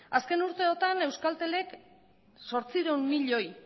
azken urteotan euskaltelek zortziehun milioi